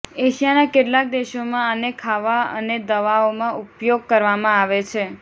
એશિયાના કેટલાક દેશોમાં આને ખાવવા અને દવાઓમાં ઉપયોગ કરવામાં આવે છે